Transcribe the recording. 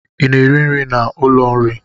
I na-eri nri n'ụlọ nri?